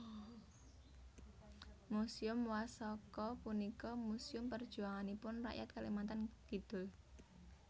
Muséum Wasaka punika muséum perjuanganipun rakyat Kalimantan Kidul